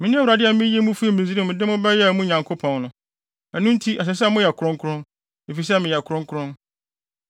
Mene Awurade a miyii mo fii Misraim de mo bɛyɛɛ mo Nyankopɔn no. Ɛno nti, ɛsɛ sɛ moyɛ kronkron, efisɛ meyɛ kronkron.